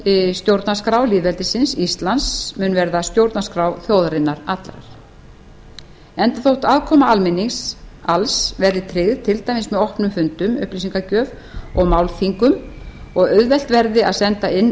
ný stjórnarskrá lýðveldisins íslands mun verða stjórnarskrá þjóðarinnar allrar enda þótt afkoma almennings alls verði tryggð til dæmis með opnum fundum upplýsingagjöf og málþingum og auðvelt verði að senda inn